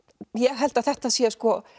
held að þetta sé